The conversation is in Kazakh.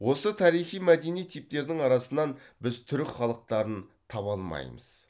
осы тарихи мәдени типтердің арасынан біз түрік халықтарын таба алмаймыз